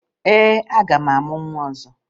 Ee, aga m amụ nwa ọzọ